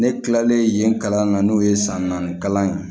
Ne kilalen yen kalan na n'o ye san naani kalan ye